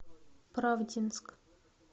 правдинск